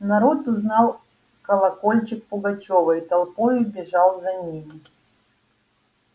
народ узнал колокольчик пугачёва и толпою бежал за нами